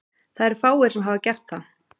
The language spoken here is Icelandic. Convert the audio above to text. Það eru fáir sem hafa gert það.